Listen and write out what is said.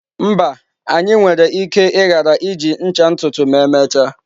Mba, anyị nwere ike ghara iji ncha ntutu ma emechaa.